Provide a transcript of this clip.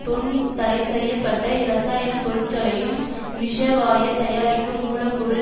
தொன் தடைசெய்ய பட்ட இரசாயன பொருட்களையும் விஷவாய தயாரிக்கும் மூலப்பொருள்